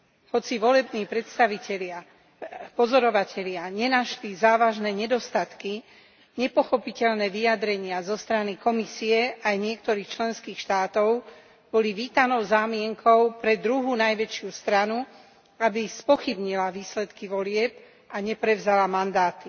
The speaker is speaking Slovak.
Hoci volební pozorovatelia nenašli závažné nedostatky, nepochopiteľné vyjadrenia zo strany Komisie aj niektorých členských štátov boli vítanou zámienkou pre druhú najväčšiu stranu, aby spochybnila výsledky volieb a neprevzala mandáty.